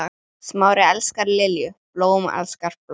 Smári elskar Lilju, blóm elskar blóm.